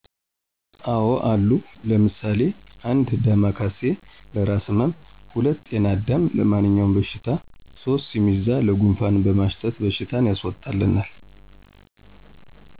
አዎ አሉ ለምሳሌ 1 ዳማ ካሴ፦ ለእራስ ህመም 2 ጤና አዳም፦ ለማንኛውም በሽታ 3 ስሚዛ፦ ለጉንፋን በማሽተት በሽታን ያስወጣልናል